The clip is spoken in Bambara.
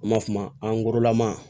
An b'a f'o ma angorolama